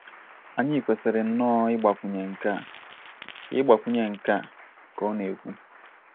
Anyi kwesiri nnoọ igbakwunye nkea'' ka igbakwunye nkea'' ka ọ na - ekwu